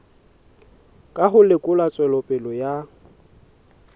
ka ho lekola tswelopele ya